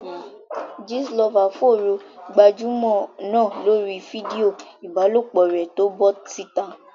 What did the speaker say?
Gist lover fòòró gbajúmọ̀ náà lórí fídíò ìbálòpọ̀ rẹ̀ tó bọ́ síta.